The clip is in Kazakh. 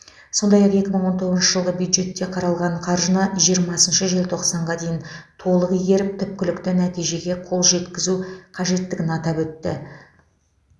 сондай ақ екі мың он тоғызыншы жылғы бюджетте қаралған қаржыны жиырмасыншы желтоқсанға дейін толық игеріп түпкілікті нәтижеге қол жеткізу қажеттігін атап өтті